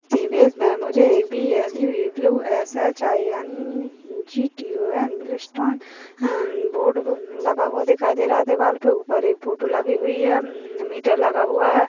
इस इमेज में मुझे B L U S H I N G T O N board लगा हूआ दिखाई दे रहा है दीवार पे ऊपर एक फोटो लगी हुई है एक अ मीटर लगा हुआ है।